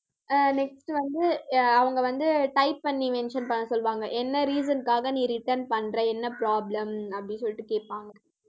அஹ் next வந்து அஹ் அவங்க வந்து type பண்ணி mention பண்ண சொல்லுவாங்க. என்ன reason னுக்காக நீ return பண்ற என்ன problem அப்படி சொல்லிட்டு கேப்பாங்க